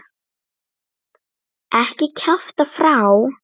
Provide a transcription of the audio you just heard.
Ekki kjafta frá.